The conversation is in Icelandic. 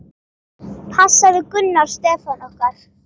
Passaðu Gunnar Stefán okkar.